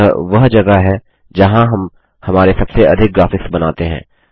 यह वह जगह है जहाँ हम हमारे सबसे अधिक ग्राफिक्स बनाते हैं